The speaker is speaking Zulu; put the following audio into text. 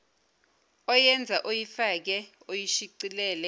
oyenze oyifake oyishicilele